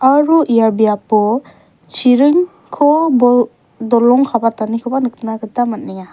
aro ia biapo chiringko bol dolong kabatanikoba nikna man·enga.